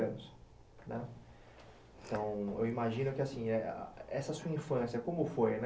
Então, eu imagino que, assim, essa sua infância, como foi, né?